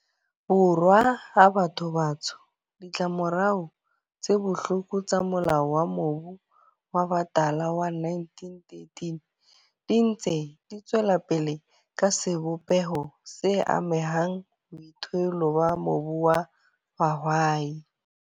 Borwa a batho ba batsho, ditlamorao tse bohloko tsa Molao wa Mobu wa Batala wa 1913 di ntse di tswelapele ka sebopeho se ammeng boithuelo ba mobu wa bohwai.